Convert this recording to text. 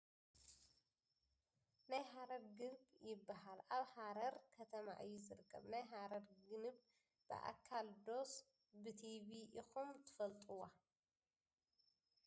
ናይ ሃረር ግንብ ይባሃል ። ኣብ ሃረር ከተማ እዩ ዝርከብ ። ናይ ሃረር ግንብ ብኣካል ዶስ ብቲቪ ኢኩም ትፈልጥዋ ?